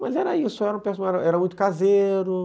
Mas era isso, era muito caseiro.